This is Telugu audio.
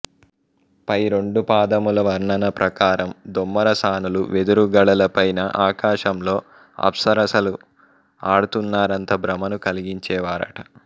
పై రెండు పాదముల వర్ణన ప్రకారం దొమ్మర సానులు వెదురు గడల పైన ఆకాశంలో అప్సరసలు ఆడుతున్నారంత భ్రమను కలిగించేవారట